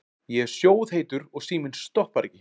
Ég er sjóðheitur og síminn stoppar ekki.